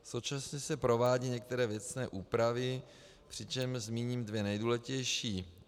Současně se provádí některé věcné úpravy, přičemž zmíním dvě nejdůležitější.